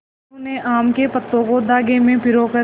मनु ने आम के पत्तों को धागे में पिरो कर